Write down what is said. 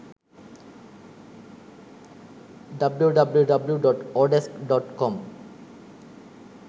www.odesk.com